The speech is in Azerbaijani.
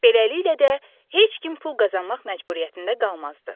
Beləliklə də heç kim pul qazanmaq məcburiyyətində qalmazdı.